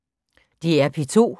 DR P2